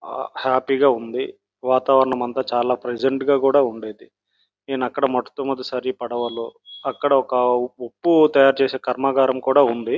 Happy గా ఉంది. వాతావరణం అంతా చాలా ప్రెసెంట్ గా కూడా ఉండేది. నేను అక్కడ మొట్ట మొదటిసారిగా పడవలో అక్కడ ఉప్పు తయారు చేసే కర్మకారం కూడా ఉంది.